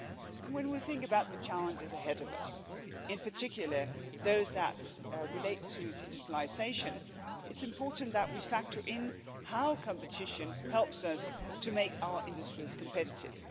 And when we think about the challenges ahead of us, in particular those that relate to digitalisation, it's important that we factor in how competition helps us to make our industries competitive.